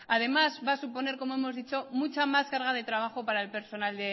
además va a suponer como hemos dicho mucha más carga de trabajo para el personal